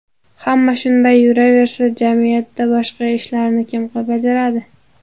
Hamma shunday yuraversa, jamiyatda boshqa ishlarni kim bajaradi?